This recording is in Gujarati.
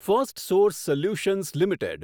Firstsource Solutions limited